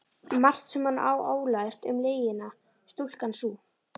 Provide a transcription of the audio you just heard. Margt sem hún á ólært um lygina, stúlkan sú.